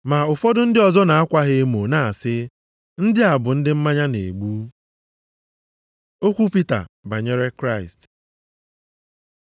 Ma ụfọdụ ndị ọzọ na-akwa ha emo na-asị, “Ndị a bụ ndị mmanya na-egbu.” Okwu Pita banyere Kraịst